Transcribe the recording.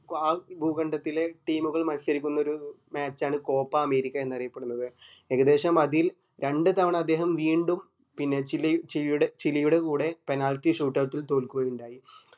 കുആ ഭൂഖണ്ഡത്തിലെ team ഉകൾ മത്സരിക്കുന്നത് match ആണ് copa അമേരിക്ക എന്ന് അറിയപ്പെടുന്നത് ഏകദേശം അതിൽ രണ്ട് തവണ അദ്ദേഹം വീണ്ടും പിന്നെ പിന്നെ ചില് ഷീലയുടെ ഷീലയുടെ കൂടെ penalty shootout ൽ തോല്കുകയുണ്ടായി